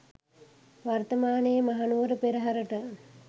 වර්තමානයේ මහනුවර පෙරහරට